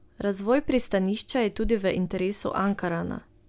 Razvoj pristanišča je tudi v interesu Ankarana.